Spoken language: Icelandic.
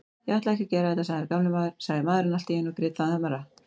Ég ætlaði ekki að gera þetta, sagði maðurinn allt í einu og grét ennþá meira.